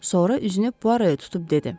Sonra üzünü Puaroa tutub dedi: